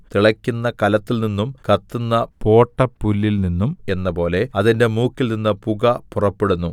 തിളക്കുന്ന കലത്തിൽനിന്നും കത്തുന്ന പോട്ടപ്പുല്ലിൽനിന്നും എന്നപോലെ അതിന്റെ മൂക്കിൽനിന്ന് പുക പുറപ്പെടുന്നു